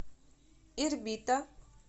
ирбита